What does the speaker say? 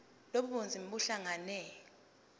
lobu bunzima buhlangane